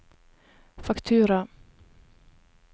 faktura